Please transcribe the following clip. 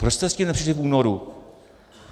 Proč jste s tím nepřišli v únoru?